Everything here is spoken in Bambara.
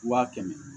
Waa kɛmɛ